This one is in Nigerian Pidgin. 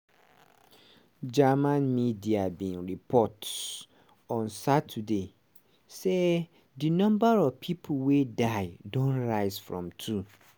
german media bin report on saturday say di number of pipo wey die don rise from two.